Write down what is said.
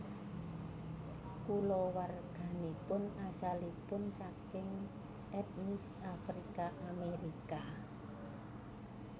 Kulawarganipun asalipun saking etnis Afrika Amerika